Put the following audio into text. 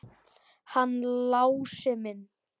Hann Lási minn!